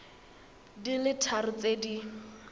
di le tharo tse di